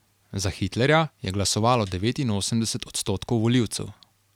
Za Hitlerja je glasovalo devetinosemdeset odstotkov volivcev.